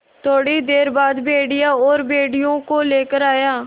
थोड़ी देर बाद भेड़िया और भेड़ियों को लेकर आया